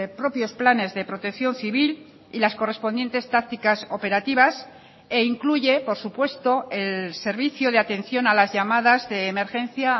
propios planes de protección civil y las correspondientes tácticas operativas e incluye por supuesto el servicio de atención a las llamadas de emergencia